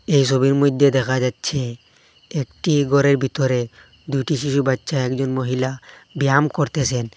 এই সবির মইধ্যে দেখা যাচ্ছে একটি ঘরের ভিতরে দুইটি শিশু বাচ্চা একজন মহিলা ব্যায়াম করতেসেন।